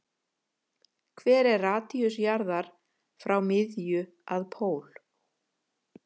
Hver er radíus jarðar frá miðju að pól?